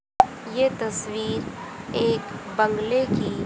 ये तस्वीर एक बंगले की--